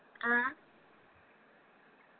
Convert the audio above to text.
ആ